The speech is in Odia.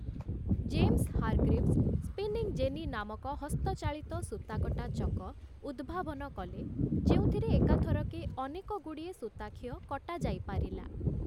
ଜେମସ୍ ହାରଗ୍ରିଭ୍‌ସ୍' ସ୍ପିନିଂ ଜେନି ନାମକ ହସ୍ତଚାଳିତ ସୂତାକଟା ଚକ ଉଦ୍ଭାବନ କଲେ ଯେଉଁଥିରେ ଏକାଥରକେ ଅନେକଗୁଡ଼ିଏ ସୂତାଖିଅ କଟାଯାଇପାରିଲା ।